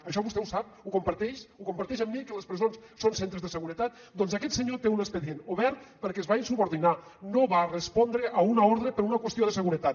això vostè ho sap ho comparteix ho comparteix amb mi que les presons són centres de seguretat doncs aquest senyor té un expedient obert perquè es va insubordinar no va respondre a una ordre per una qüestió de seguretat